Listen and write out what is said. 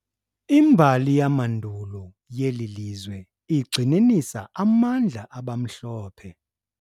Imbali yamandulo yeli lizwe igxininisa amandla abamhlophe.